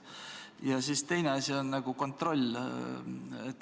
Ja teine asi, kontroll.